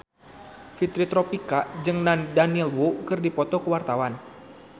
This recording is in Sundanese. Fitri Tropika jeung Daniel Wu keur dipoto ku wartawan